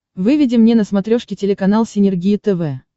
выведи мне на смотрешке телеканал синергия тв